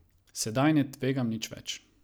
Sedaj ne tvegam nič več.